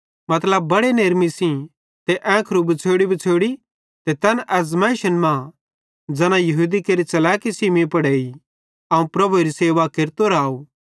मतलब बड़े नेरमी सेइं ते ऐंखरू बछ़ोड़ीबछ़ोड़ी ते तैन आज़माइश मां ज़ैना यहूदी केरि च़लैकी सेइं मीं पुड़ एई अवं प्रभुएरी सेवा केरतो राव